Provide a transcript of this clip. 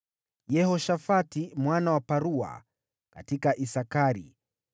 Yehoshafati mwana wa Parua: katika Isakari;